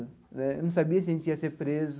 Né não sabia se a gente ia ser preso.